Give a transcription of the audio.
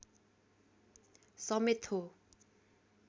समेत हो